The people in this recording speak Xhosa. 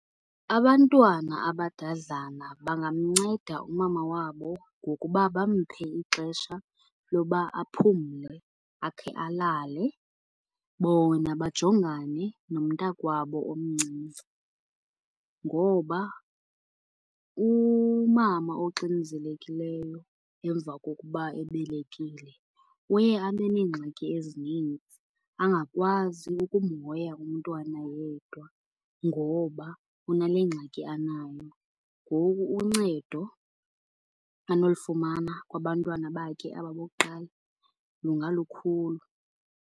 Abantwana abadadlana bangamnceda umama wabo ngokuba bamphe ixesha loba aphumle, akhe alale. Bona bajongane nomntakwabo omncinci ngoba umama oxinzelekileyo emva kokuba ebelekile uye abe neengxaki ezininzi angakwazi umhoya umntwana yedwa ngoba unale ngxaki anayo. Ngoku uncedo anolifumana kubantwana bakhe aba bokuqala lungalukhulu.